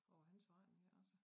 Over hans forretning altså